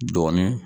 Dɔɔnin